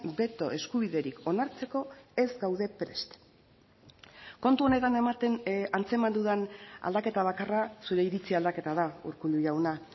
beto eskubiderik onartzeko ez gaude prest kontu honetan ematen antzeman dudan aldaketa bakarra zure iritzi aldaketa da urkullu jauna